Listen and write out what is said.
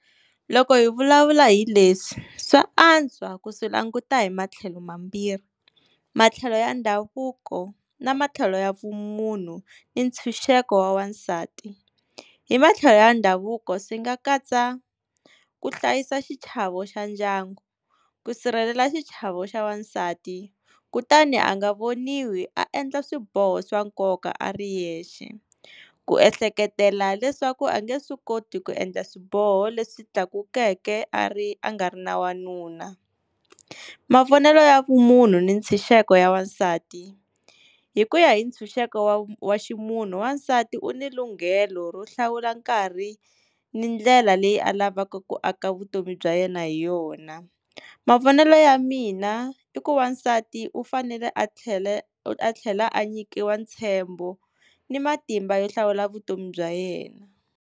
Loko hi vulavula hi leswi swa antswa ku swi languta hi matlhelo mambirhi, matlhelo ya ndhavuko na matlhelo ya vumunhu ni ntshunxeko wansati. Hi matlhelo ya ndhavuko swi nga katsa ku hlayisa xichavo xa ndyangu, ku sirhelela xichavo xa wansati, kutani a nga voniwi a endla swiboho swa nkoka a ri yexe, ku ehleketela leswaku a nge swi koti ku endla swiboho leswi tlakukeke a ri a nga ri na wanuna. Mavonelo ya vumunhu ni ntshunxeko ya wansati, hi ku ya hi ntshunxeko wa ximunhu wansati u ni lunghelo ro hlawula nkarhi ni ndlela leyi alavaka ku aka vutomi bya yena hi yona. Mavonelo ya mina i ku wansati u fanele a tlhela a tlhela a nyikiwa ntshembo ni matimba yo hlawula vutomi bya yena.